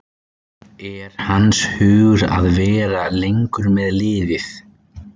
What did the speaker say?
Er hans hugur að vera lengur með liðið?